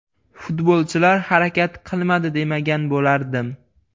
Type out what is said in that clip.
Futbolchilar harakat qilmadi demagan bo‘lardim.